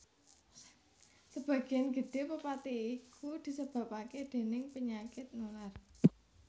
Sebagian gedhé pepati iku disebabaké déning panyakit nular